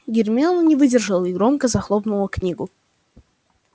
гермиона не выдержала и громко захлопнула книгу